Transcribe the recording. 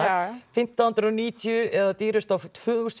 fimmtán hundruð og níutíu eða dýrust tvö þúsund